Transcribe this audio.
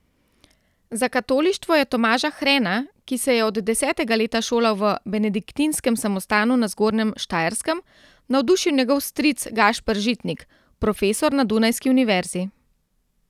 Za katolištvo je Tomaža Hrena, ki se je od desetega leta šolal v benediktinskem samostanu na Zgornjem Štajerskem, navdušil njegov stric Gašper Žitnik, profesor na dunajski univerzi.